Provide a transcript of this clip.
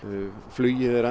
flugið er